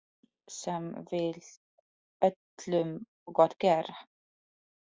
Maður sem vill öllum gott gera.